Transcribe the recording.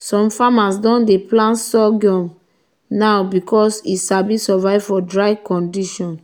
some farmers don dey plant sorghum now because e sabi survive for dry condition.